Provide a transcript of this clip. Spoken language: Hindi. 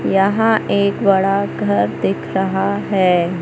यहां एक बड़ा घर दिख रहा है।